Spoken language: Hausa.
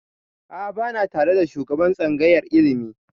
A'a ba na tare da shugaban tsangayar ilimi